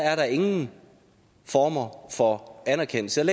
er nogen former for anerkendelse